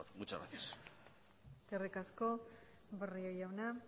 muchas gracias eskerri asko barrio jauna